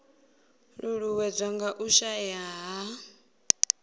ṱuṱuwedzwa nga u shaea ha